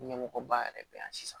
Ɲɛmɔgɔba yɛrɛ bɛ yan sisan